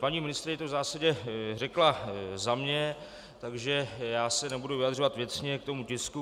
Paní ministryně to v zásadě řekla za mě, takže já se nebudu vyjadřovat věcně k tomu tisku.